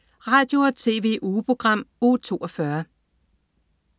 Radio- og TV-ugeprogram Uge 42